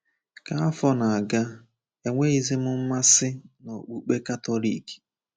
Ka afọ na-aga, enweghịzi m mmasị n’Okpukpe Katọlik.